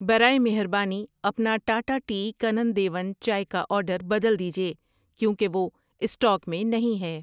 برائے مہربانی اپنا ٹاٹا ٹی کانن دیون چائے کا آرڈر بدل دیجیے کیوں کہ وہ اسٹاک میں نہیں ہے۔